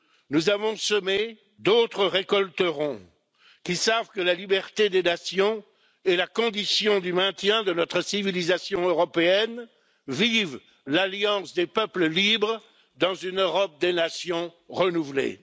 Nous avons semé, d'autres récolteront, qui savent que la liberté des nations est la condition du maintien de notre civilisation européenne. Vive l'alliance des peuples libres dans une Europe des nations renouvelée.